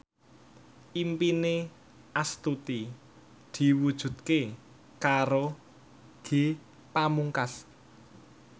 impine Astuti diwujudke karo Ge Pamungkas